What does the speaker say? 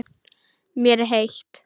Mér er heitt.